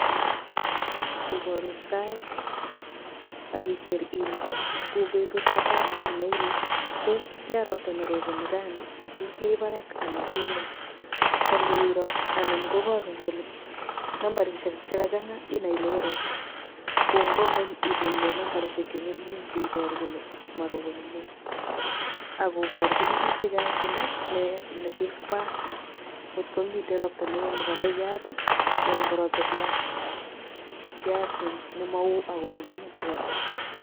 Yu koporun sait akiker ile ko betutab raini inoe ile tos tian ropta neroponi rani tos mi parak anan mi ngweny ko ngiroo anan koporun kole nambarisiek chekachang'a inai ile oo ropta ko ngwo ngweny inai ile nambarisiek che ng'ering'en cheiporu kole moroponi neo akoporchin biik chechang kole nee notos koyak ngot komiten ropta neo nepo koyat ana ko ropta kiasi, kiasi nemo oo ako momingin ropta.